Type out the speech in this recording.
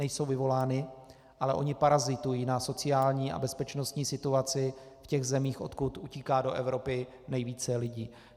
Nejsou vyvolány, ale oni parazitují na sociální a bezpečnostní situaci v těch zemích, odkud utíká do Evropy nejvíce lidí.